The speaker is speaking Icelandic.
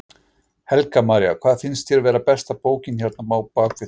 Helga María: Hvað finnst þér vera besta bókin hérna á bakvið þig?